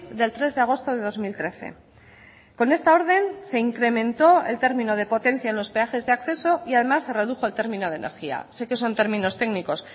del tres de agosto de dos mil trece con esta orden se incrementó el término de potencia en los peajes de acceso y además se redujo el término de energía sé que son términos técnicos